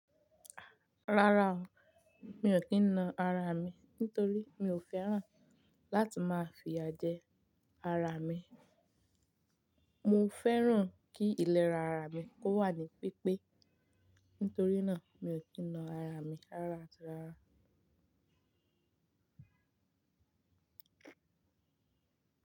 Rárá o, mi ò kí n na ara mi nítorí mi ò fẹ́ràn láti máa fìyà jẹ ara mi. Mo fẹ́ràn kí ìlera ara mi kó wà ní pípé. Nítorí náà, mi ò kí na ara mi rárá àti rárá.